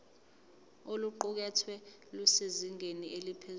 oluqukethwe lusezingeni eliphezulu